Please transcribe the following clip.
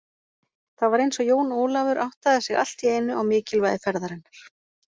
Það var eins og Jón Ólafur áttaði sig allt í einu á mikilvægi ferðarinnar.